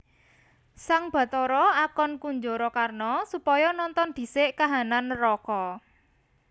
Sang Bathara akon Kunjarakarna supaya nonton dhisik kahanan neraka